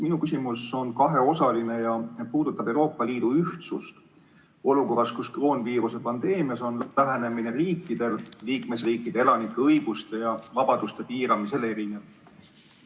Minu küsimus on kaheosaline ja puudutab Euroopa Liidu ühtsust olukorras, kus kroonviiruse pandeemias on riikide lähenemine liikmesriikide elanike õiguste ja vabaduste piiramisele erinev.